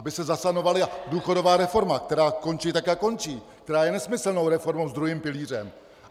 Aby se zasanovala důchodová reforma, která končí tak, jak končí, která je nesmyslnou reformou s druhým pilířem.